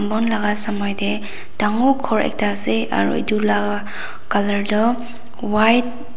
wal laga samai tae dangor ghor ekta ase aru etu laga colour toh white .